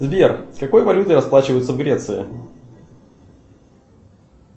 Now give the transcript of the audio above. сбер какой валютой расплачиваются в греции